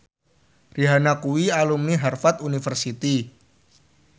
Rihanna kuwi alumni Harvard university